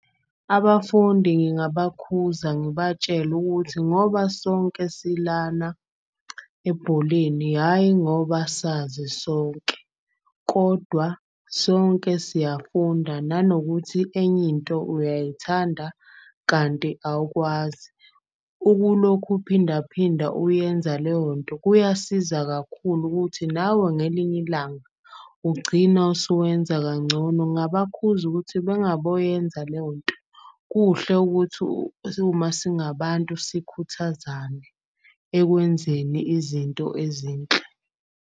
Abafundi ngingabakhuthaza ngibatshele ukuthi ngoba sonke silana ebholeni, hhayi ngoba sazi sonke. Kodwa sonke siyafunda nanokuthi enye into uyayithanda kanti awukwazi. Ukulokhu uphindaphinda uyenza leyo nto kuyasiza kakhulu ukuthi nawe ngelinye ilanga ugcina usuwenza kangcono. Ngabakhuthaza ukuthi bengaboyenza leyo nto. Kuhle ukuthi uma singabantu sikhuthazane ekwenzeni izinto ezinhle.